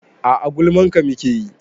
A'a gulman ka muke yi